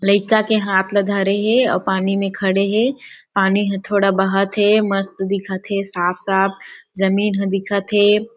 लइका के हाथ ल धरे हे आऊ पानी में खड़े हे पानी ह थोड़ा बहत हे मस्त दिखत हे साफ-साफ जमीन दिखत हे।